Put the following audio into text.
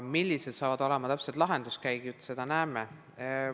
Millised on täpselt lahenduskäigud, seda veel näeme.